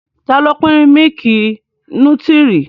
Ta ló pín mílìkì nútírì?